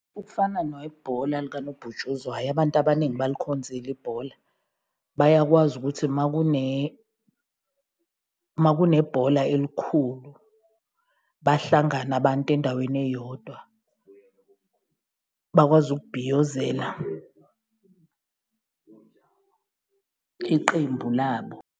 Ukufana nebhola likanobhutshuzwayo abantu abaningi balikhonzile ibhola, bayakwazi ukuthi uma uma kunebhola elikhulu, bahlangane abantu endaweni eyodwa, bakwazi ukubhiyozela iqembu labo.